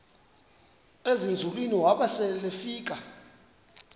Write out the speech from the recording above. ezinzulwini waba selefika